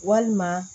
Walima